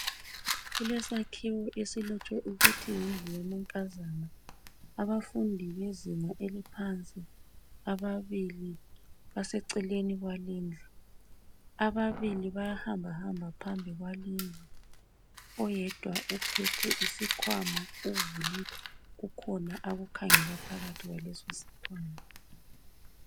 Kulesakhiwo esilotshwe ukuthi yindlu yamankazana. Abafundi bezinga eliphansi ababili baseceleni kwalindlu. Ababili bayahambahamba phambi kwalindlu. Oyedwa uphethe isikwama uvulile kukhona akukhangela phakathi kwaleso sikwama.